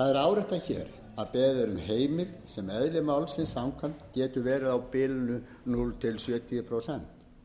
það er áréttað hér að er beðið um heimild sem eðli málsins samkvæmt getur verið á bilinu núll til sjötíu prósent